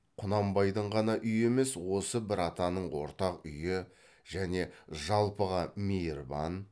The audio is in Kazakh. құнанбайдың ғана үйі емес осы бір атаның ортақ үйі және жалпыға мейірбан